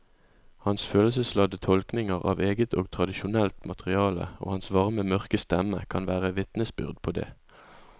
Hans følelsesladde tolkninger av eget og tradisjonelt materiale og hans varme mørke stemme kan være vitnesbyrd på det.